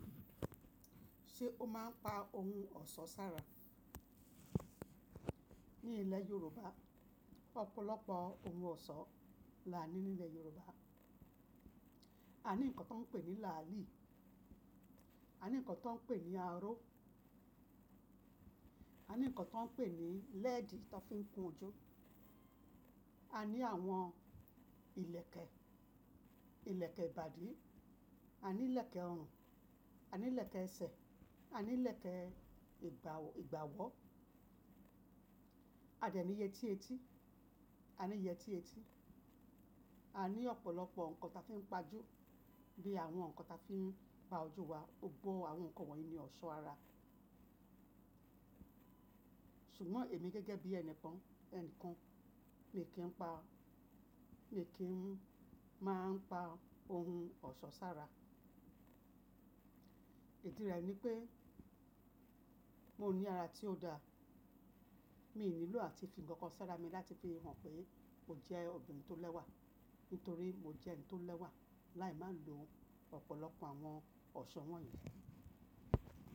Ṣé o máa ń pa ohun ọ̀ṣọ́ sára? Ní ilẹ̀ Yorùbá, ọ̀pọ̀lọpọ̀ ohun ọ̀ṣọ́ là ní nilẹ̀ Yorùbá. A ní nǹkan tí wọ́n ń pè ní làálì, a ní nǹkan tí wọ́n ń pè ní aró, a ní nǹkan tí wọ́n ń pè ní lẹ́ẹ̀dì tan fi ń kun ojú. A ní àwọn ìlẹ̀kẹ̀, ìlẹ̀kẹ̀ ìbàdí, a ní ìlẹ̀kẹ̀ ọrùn, a ní ìlẹ̀kẹ̀ ẹsẹ̀, a ní ìlẹ̀kẹ̀ ìgbà ìgbàwọ́. A dẹ̀ ní yẹtí etí, a ní yẹtí etí. A ní ọ̀pọ̀lọpọ̀ nǹkan ta fi ń pa ojú, bí i àwọn nǹkan ta fi ń pa ojú wa. Gbogbó àwọn nǹkan wọ̀nyí ni ọ̀ṣọ́ ara. Ṣùgbọ́n èmi gẹ́gẹ́ bí ẹni pọn ẹni kan, mi kí ń pa, mi kí ń máa ń pa ohun ọ̀ṣọ́ sára. Ìdí rẹ̀ ni pé mo ní ara tí ó da, mi ò nílò àti fi nǹkan sára mi láti fi hàn pé mo jẹ́ obìnrin tó lẹ́wà. Nítorí mo jẹ́ ẹni tó lẹ́wà. Láì máa lo ọ̀pọ̀lọpọ̀ àwọn ọ̀ṣọ́ wọ̀nyí.